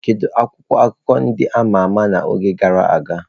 Kedu akwụkwọ akụkọ ndị a ma ama n'oge gara aga?